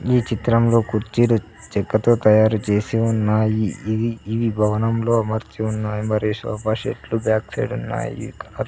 ఈ చిత్రంలో కుర్చీలు చెక్కతో తయారు చేసి ఉన్నాయి ఇది ఇవి భవనంలో అమర్చి ఉన్నాయి మరియు సోఫా సెట్లు బ్యాక్ సైడ్ ఉన్నాయి.